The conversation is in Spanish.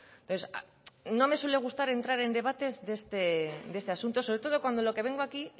entonces no me suele gustar entrar en debates de este asunto sobre todo cuando lo que vengo aquí